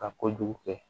Ka kojugu kɛ